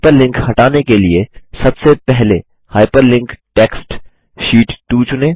hyperlink हटाने के लिए सबसे पहले हाइपरलिंक्ड टेक्स्ट शीट 2 चुनें